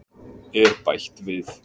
er bætt við.